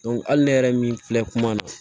hali ne yɛrɛ min filɛ kuma na